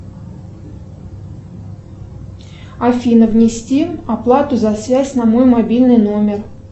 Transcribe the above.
афина внести оплату за связь на мой мобильный номер